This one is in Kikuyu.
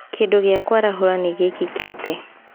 Kĩndũ gĩa kũarahũra nĩ gĩkĩkĩte.